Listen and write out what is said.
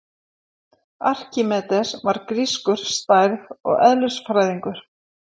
Arkímedes var grískur stærð- og eðlisfræðingur.